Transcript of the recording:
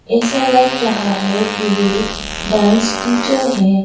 ऐसा लग रहा है कि वे डांस टीचर है।